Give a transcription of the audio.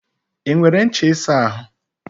I nwere ncha isa ahu?